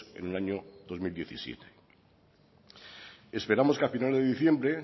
en el año dos mil diecisiete esperamos que al final de diciembre